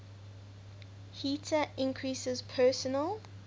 heater increases personal